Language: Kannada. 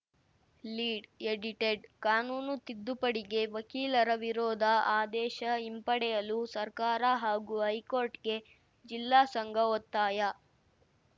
ಲೀಡ್‌ ಎಡಿಟೆಡ್‌ ಕಾನೂನು ತಿದ್ದುಪಡಿಗೆ ವಕೀಲರ ವಿರೋಧ ಆದೇಶ ಹಿಂಪಡೆಯಲು ಸರ್ಕಾರ ಹಾಗೂ ಹೈಕೋರ್ಟ್‌ಗೆ ಜಿಲ್ಲಾ ಸಂಘ ಒತ್ತಾಯ